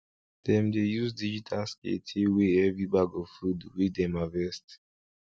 dem dey use digital scale take weigh every bag of food wey dem harvest